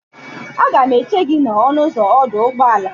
Aga m eche gị n'ọnụ ụzọ ọdụ ụgbọala.